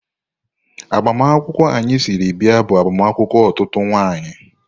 Agbamakwụkwọ anyị siri bịa bụ agbamakwụkwọ otutu nwanyị.